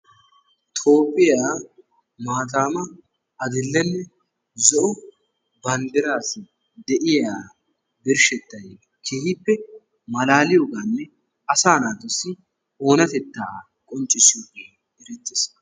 Toophphiya maataama adill"enne zo"o banddiraassi de"iya birshettayi keehippe malaaliyogaaninne asaa naatussi oonatettaa qonccissiyogee erettes.